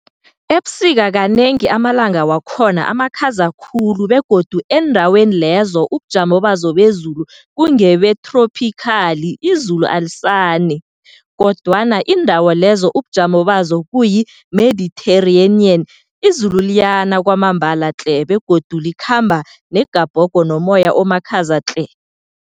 Ebusika kanengi amalanga wakhona amakhaza khulu begodu eendaweni lezo ubujamo bazo bezulu kungebethrophikhali izulu alisani. Kodwana, iindawo lezo ubujamo bazo kuyi- Mediterranean, izulu liyana kwambala tle begodu likhamba negabhogo nomoya omakhaza tle.